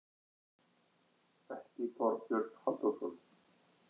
Ekki Þorbjörn Halldórsson.